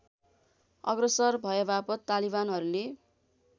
अग्रसर भएवापत तालिवानहरूले